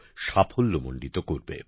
সাফল্যমন্ডিত করবে